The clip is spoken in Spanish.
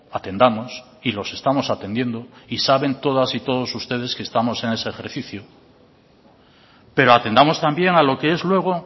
atendamos y los estamos atendiendo y saben todas y todos ustedes que estamos en ese ejercicio pero atendamos también a lo que es luego